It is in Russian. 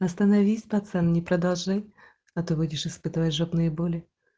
остановить пацан не продолжи а ты выйдешь испытываешь жопные боли